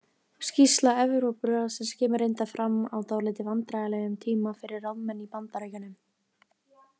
Skýrsla Evrópuráðsins kemur reyndar fram á dálítið vandræðalegum tíma fyrir ráðamenn í Bandaríkjunum.